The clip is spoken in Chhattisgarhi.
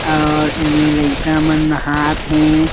और एमे लइका मन नहात हे।